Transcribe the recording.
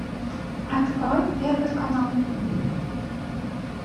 открой первый канал